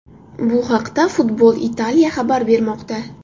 Bu haqida Football Italia xabar bermoqda .